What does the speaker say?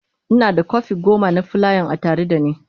Ina da kwafi goma na fulayan a tare da ni.